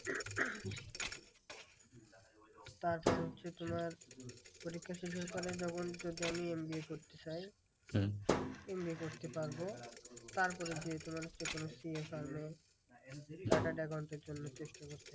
তারপর হচ্ছে তোমার পরীক্ষা শেষ হলে তাহলে তখন যদি আমি এম বি এ করতে চাই, এমনি করতে পারবো। তারপরে যে তোমার হচ্ছে কোনো CA firm এ chartered accountant এর জন্য চেষ্টা করতে হবে।